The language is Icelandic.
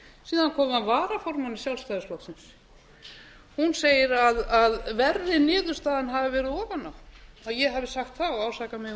síðan kom að varaformanni sjálfstæðisflokksins hún segir að verri niðurstaðan hafi verið ofan á ég hafi sagt það og ásakaði mig um